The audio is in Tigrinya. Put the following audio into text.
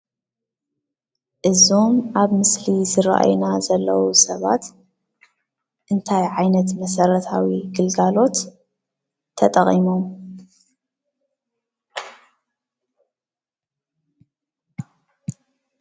እዞም አብ ምስሊ ዝረእዩና ዘለዉ ሰባት እንታይ ዓይነት መስረታዊ ግልጋሎት ተጠቂሞም ?